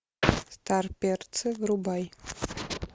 старперцы врубай